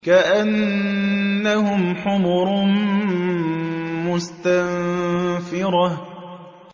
كَأَنَّهُمْ حُمُرٌ مُّسْتَنفِرَةٌ